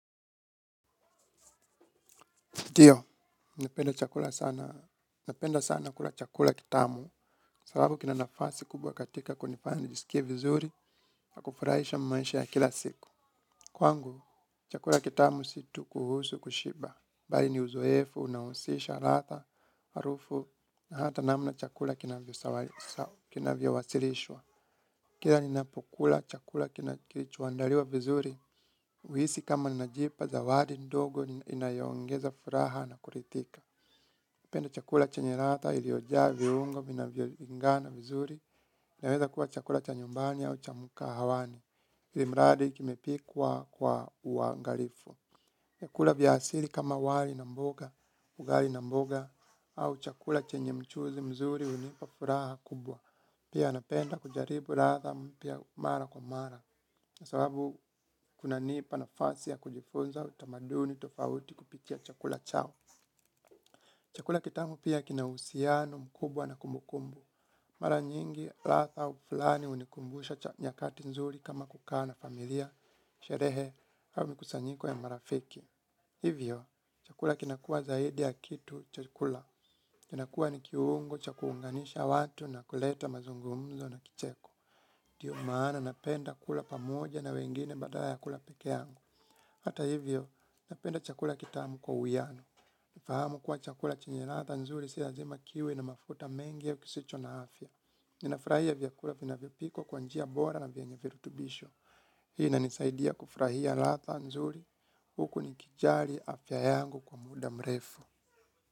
Ndio, napenda chakula sana napenda sana kula chakula kitamu sabau kina nafasi kubwa katika kunifanya nisikie vizuri na kufurahisha maisha ya kila siku. Kwangu, chakula kitamu si tu kuhusu kushiba. Bali ni uzoefu unahusisha ladha harufu na hata namna chakula kinavyowasilishwa. Kila ninapokula chakula kinachoandaliwa vizuri, huhisi kama najipa zawadi ndogo, inayoongeza furaha na kuridhika. Penda chakula chenye ladha iliojaa viungo vinavyoungana vizuri yaweza kuwa chakula cha nyumbani au cha mkahawani ilimradi kimepikwa kwa uangalifu. Vyakula vya asili kama wali na mboga, ugali na mboga au chakula chenye mchuzi mzuri hunipa furaha kubwa. Pia napenda kujaribu ladha mpya mara kwa mara. Sababu kunanipa nafasi ya kujifunza utamaduni tofauti kupitia chakula chao. Chakula kitamu pia kina uhusiano mkubwa na kumbukumbu. Mara nyingi, ladha ufulani hunikumbusha cha nyakati nzuri kama kukaa na familia, sherehe, au mikusanyiko ya marafiki. Hivyo, chakula kinakuwa zaidi ya kitu chakula. Kinakuwa ni kiungo cha kuunganisha watu na kuleta mazungumzo na kicheko. Ndiyo maana napenda kula pamoja na wengine badala ya kula peke yangu. Hata hivyo, napenda chakula kitamu kwa uwiano. Fahamu kuwa chakula chenye ladha nzuri si lazima kiwe na mafuta mengi au kisicho na afya. Ninafurahia vyakula vinavyopikwa kwa njia bora na vyenye virutubisho. Hii inanisaidia kufurahia ladha nzuri. Huku nikijali afya yangu kwa muda mrefu.